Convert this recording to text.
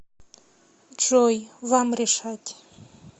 джой вам решать